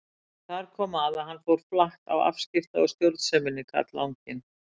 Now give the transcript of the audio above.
En þar kom að hann fór flatt á afskipta- og stjórnseminni, karlanginn.